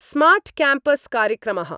smart campus कार्यक्रमः